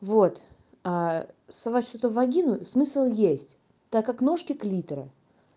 вот сосать что-то в вагину смысл есть так как ножки клитора